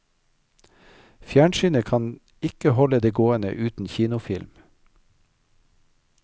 Fjernsynet kan ikke holde det gående uten kinofilm.